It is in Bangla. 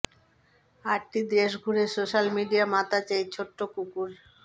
আটটি দেশ ঘুরে সোশ্যাল মিডিয়া মাতাচ্ছে এই ছোট্ট কুকুর